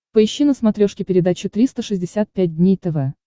поищи на смотрешке передачу триста шестьдесят пять дней тв